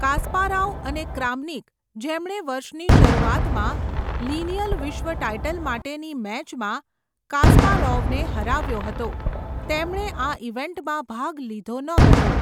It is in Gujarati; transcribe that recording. કાસ્પારોવ અને ક્રામનિક, જેમણે વર્ષની શરૂઆતમાં લિનિયલ વિશ્વ ટાઇટલ માટેની મેચમાં કાસ્પારોવને હરાવ્યો હતો, તેમણે આ ઇવેન્ટમાં ભાગ લીધો ન હતો.